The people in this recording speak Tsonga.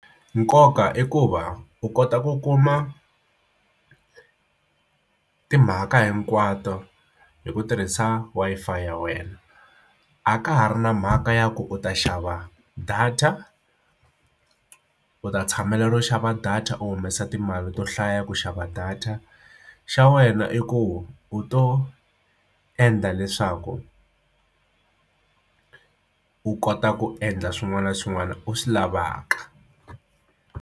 Nkoka i ku va u kota ku kuma timhaka hinkwato hi ku tirhisa Wi-Fi ya wena a ka ha ri na mhaka ya ku u ta xava data u ta tshamela ro xava data u humesa timali to hlaya ku xava data xa wena i ku u to endla leswaku u kota ku endla swin'wana na swin'wana u swi lavaka.